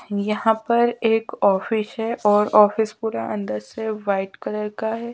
यहाँ पर एक ऑफिस है और ऑफिस पूरा अंदर से व्हाइट कलर का है।